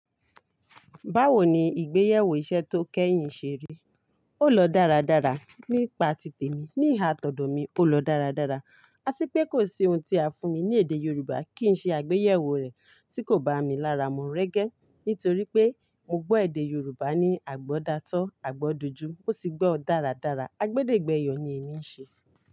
Báwo ni ìgbéyàwó iṣẹ́ tó kẹ́yìn ṣe rí? Ó lọ dáradára. Nípa tite mi, ní ìha tọdọ mi, ó lọ dáradára. Ati pé kò sí ohun tí a fún mi ní èdè Yorùbá kí n ṣe àgbéyẹ̀wò rẹ̀ tí kò bá mi lára. Mu rẹ́gẹ́ nítorí pé mo gbọ́ èdè Yorùbá ní àgbọ́datọ́, àgbọ́dojú, mo sì gbọ́ ọ dáradára. A gbédègbẹ́yọ ni èmi ń ṣe.